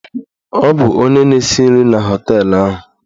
Ọ bụ onye na-esi nri na họteelụ ahụ.